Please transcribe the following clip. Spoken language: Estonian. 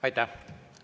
Aitäh!